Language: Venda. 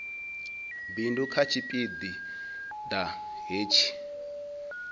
bindu kha tshipi ḓa hetshi